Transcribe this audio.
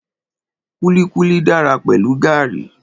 Kúlíkúlí dára pẹ̀lú gàrí